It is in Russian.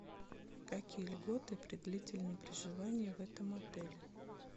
какие льготы при длительном проживании в этом отеле